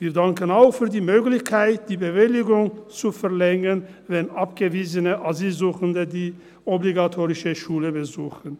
Wir danken auch für die Möglichkeit, die Bewilligung zu verlängern, wenn abgewiesene Asylsuchende die obligatorische Schule besuchen.